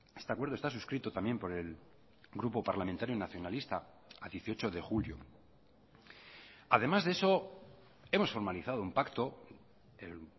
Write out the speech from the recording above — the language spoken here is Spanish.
este acuerdo está suscrito también por el grupo parlamentario nacionalista a dieciocho de julio además de eso hemos formalizado un pacto el